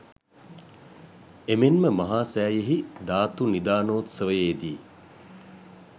එමෙන්ම මහා සෑයෙහි ධාතු නිධානෝත්සවයේදී